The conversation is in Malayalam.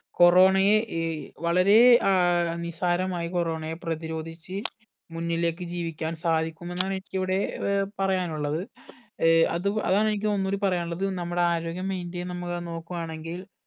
corona യെ ഏർ വളരെ ഏർ നിസ്സാരമായി corona യെ പ്രതിരോധിച്ച് മുന്നിലേക് ജീവിക്കാൻ സാധിക്കും എന്നാണ് എനിക്കിവിടെ ഏർ പറയാനുള്ളത് ഏർ അതു അതാണ് എനിക്ക് ഒന്ന് കൂടെ പറയാനുള്ളത് നമ്മുടെ ആരോഗ്യം maintain നമ്മൾ നോക്കുവാണെങ്കിൽ